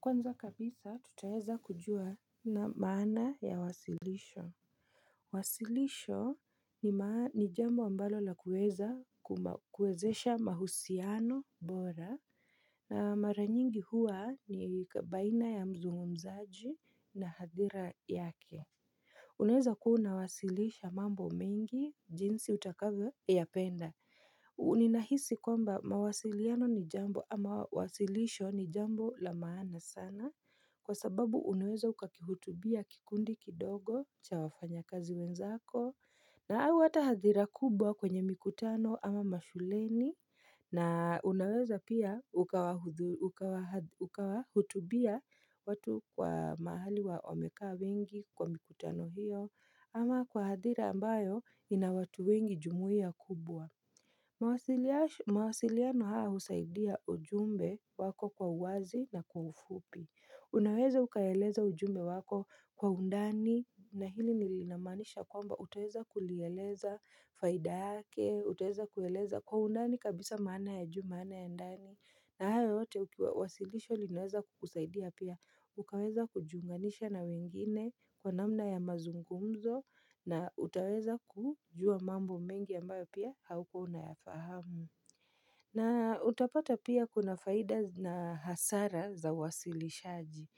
Kwanza kabisa tutaeza kujua na maana ya wasilisho Wasilisho ni ma ni jambo ambalo la kueza kuma kuezesha mahusiano bora na maranyingi huwa ni baina ya mzungumzaji na hadhira yake Unaeza kua unawasilisha mambo mengi jinsi utakavo ya penda Unina hisi kwamba mawasiliano ni jambo ama wasilisho ni jambo la maana sana kwa sababu unaweza ukakihutubia kikundi kidogo cha wafanya kazi wenzako na au ata hadhira kubwa kwenye mikutano ama mashuleni na unaweza pia ukawahuthu ukawahath ukawahutubia watu kwa mahali wa wamekaa wengi kwa mikutano hiyo ama kwa hadhira ambayo inawatu wengi jumuia kubwa mawasilia mawasiliano haa usaidia ujumbe wako kwa uwazi na kwa ufupi Unaweza ukaeleza ujumbe wako kwa undani na hili nilinamaanisha kwamba utaweza kulieleza faida yake Utaeza kueleza kwa undani kabisa maana ya juu maana ya ndani na hayo yote ukiwa wasilisho linaweza kukusaidia pia Ukaweza kujiunganisha na wengine kwa namna ya mazungumzo na utaweza kujua mambo mengi ambayo pia haukua unayafahamu na utapata pia kuna faida na hasara za wasilishaji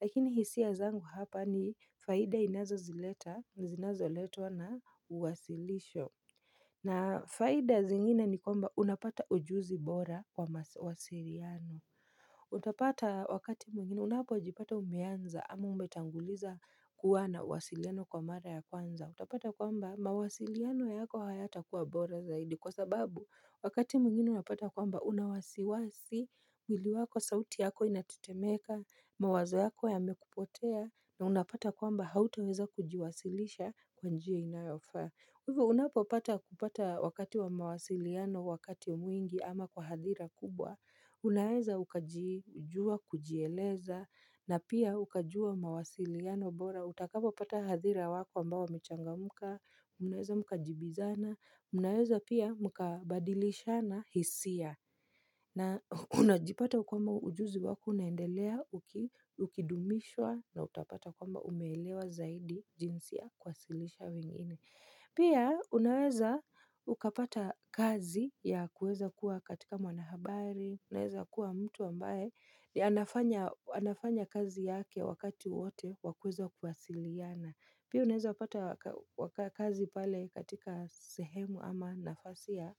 Lakini hisia zangu hapa ni faida inazo zileta, zinazo letwa na uwasilisho na faida zingine ni kwamba unapata ujuzi bora kwa ma wasiriano Utapata wakati mwingine unapo jipata umeanza ama umetanguliza kuwa na wasiliano kwa mara ya kwanza Utapata kwamba mawasiliano yako hayata kuwa bora zaidi kwa sababu wakati mwngine unapata kwamba unawasiwasi mwili wako sauti yako inatitemeka mawazo yako ya mekupotea na unapata kwamba hautoweza kujiwasilisha kwanjia inayofaa hivu unapo pata kupata wakati wa mawasiliano wakati mwingi ama kwa hadhira kubwa Unaweza ukajijua kujieleza na pia ukajua mawasiliano bora utakapo pata hadhira wako ambao wamechangamka, mnaweza mkajibizana, mnaweza pia mkabadilishana hisia na unajipata kwamba ujuzi wako unaendelea ukidumishwa na utapata kwamba umeelewa zaidi jinsi ya kuwasilisha wengine. Pia, unaweza ukapata kazi ya kueza kuwa katika mwanahabari, unaweza kuwa mtu ambae, yanafanya anafanya kazi yake wakati wote, wakueza kuwasiliana. Pia unaeza pata waka kazi pale katika sehemu ama nafasi ya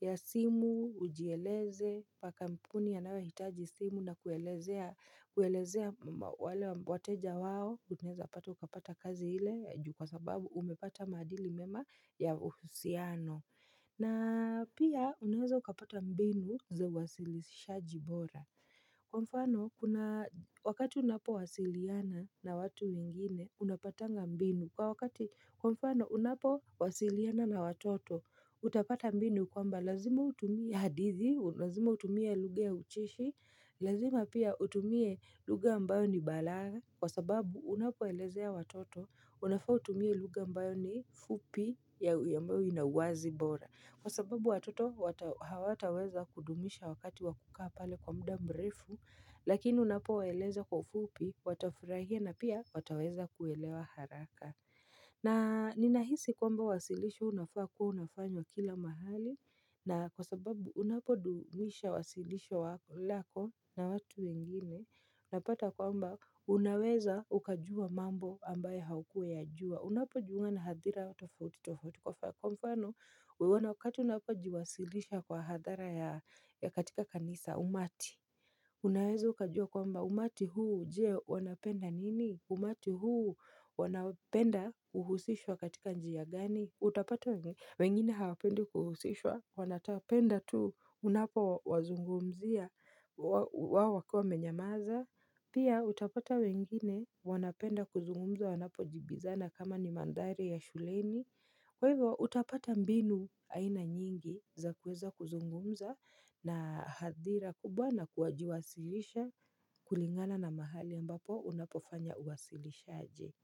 ya simu, ujieleze, paka mpuni yanaohitaji simu na kuelezea kuelezea wale wateja wao, unaeza pata ukapata kazi ile, juu kwa sababu umepata maadili mema ya uhusiano. Na pia unaweza ukapata mbinu za uwasilisha jibora Kwa mfano, kuna wakati unapo wasiliana na watu wengine, unapatanga mbinu Kwa wakati, kwa mfano, unapo wasiliana na watoto, utapata mbinu Kwa mba, lazima utumie hadithi, lazima utumie lugha ya ucheshi Lazima pia utumie luga ambayo ni balagha Kwa sababu unapoelezea watoto unafaa utumie luga ambayo ni fupi ya uyambayo inawazi bora Kwa sababu watoto wata hawataweza kudumisha wakati wakukaapale kwa muda mrefu Lakini unapoeleza kwa ufupi watafirahia na pia wataweza kuelewa haraka na ninahisi kwamba wasilisho unafaa kua unafanywa kila mahali na kwa sababu unapodumisha wasilisho wako lako na watu wengine na pata kwamba unaweza ukajua mambo ambaye haukua ya jua Unapo jiunga na hadhira wa tofauti tofauti kwa fa kwa mfano Wewana wakati unapo jiwasilisha kwa hadhara ya ya katika kanisa umati Unaweza ukajua kwamba umati huu je wanapenda nini umati huu wanapenda uhusishwa katika njia gani Utapata wengine hawapendi kuhusishwa wanatapenda tu Unapo wazungumzia wa wao wakiwa menyamaza Pia utapata wengine wanapenda kuzungumza wanapo jibizana kama ni mandhari ya shuleni Kwa hivo utapata mbinu aina nyingi za kueza kuzungumza na hadhira kubwa na kuwajiwasilisha kulingana na mahali ambapo unapofanya uwasilisha aje.